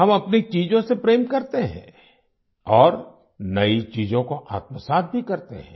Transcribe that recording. हम अपनी चीज़ों से प्रेम करते हैं और नई चीज़ों को आत्मसात भी करते हैं